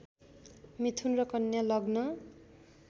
मिथुन र कन्या लग्न